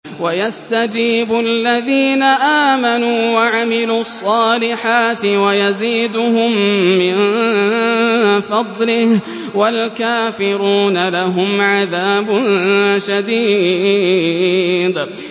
وَيَسْتَجِيبُ الَّذِينَ آمَنُوا وَعَمِلُوا الصَّالِحَاتِ وَيَزِيدُهُم مِّن فَضْلِهِ ۚ وَالْكَافِرُونَ لَهُمْ عَذَابٌ شَدِيدٌ